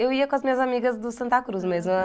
Eu ia com as minhas amigas do Santa Cruz mesmo.